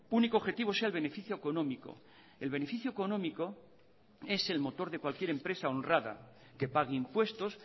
único objetivo sea el beneficio económico el beneficio económico es el motor de cualquier empresa honrada que pague impuestos